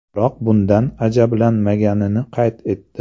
Biroq bundan ajablanmaganini qayd etdi.